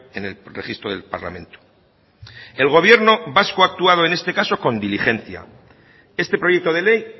en el registro del parlamento el gobierno vasco ha actuado en este caso con diligencia este proyecto de ley